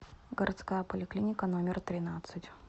городская поликлиника номер тринадцать